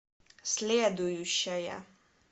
следующая